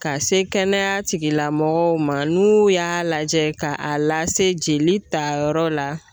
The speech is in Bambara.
Ka se kɛnɛya tigilamɔgɔw ma n'u y'a lajɛ ka a lase jelita yɔrɔ la